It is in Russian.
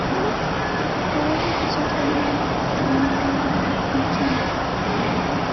положи пятьсот рублей на мобилу александру